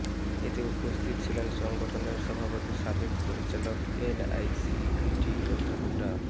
এতে উপস্থিত ছিলেন সংগঠনের সভাপতি সাবেক পরিচালক এনআইসিভিডি অধ্যাপক ডা